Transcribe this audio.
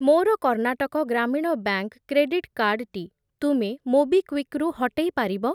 ମୋର Karnataka Gramin bank credit card ଟି ତୁମେ ମୋବିକ୍ଵିକ୍ ରୁ ହଟେଇ ପାରିବ?